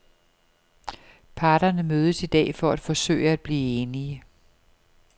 Parterne mødes i dag for at forsøge at blive enige.